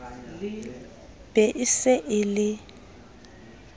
be e se e le